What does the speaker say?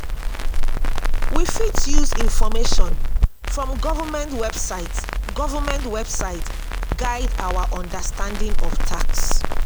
we fit use information from government website government website guide our understanding of tax